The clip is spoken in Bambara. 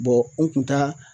u kun t'a